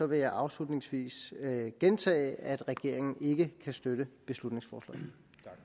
vil jeg afslutningsvis gentage at regeringen ikke kan støtte beslutningsforslaget